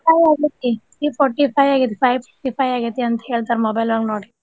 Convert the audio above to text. Five ಆಗೇತಿ three forty five ಆಗೇತಿ five fourty five ಆಗೇತಿ ಅಂತ ಹೇಳ್ತಾರ mobile ಒಳಗ ನೋಡಿ.